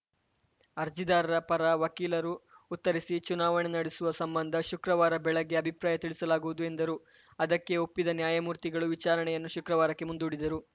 ಅರ್ಜಿದಾರರ ಪರ ವಕೀಲರು ಉತ್ತರಿಸಿ ಚುನಾವಣೆ ನಡೆಸುವ ಸಂಬಂಧ ಶುಕ್ರವಾರ ಬೆಳಗ್ಗೆ ಅಭಿಪ್ರಾಯ ತಿಳಿಸಲಾಗುವುದು ಎಂದರು ಅದಕ್ಕೆ ಒಪ್ಪಿದ ನ್ಯಾಯಮೂರ್ತಿಗಳು ವಿಚಾರಣೆಯನ್ನು ಶುಕ್ರವಾರಕ್ಕೆ ಮುಂದೂಡಿದರು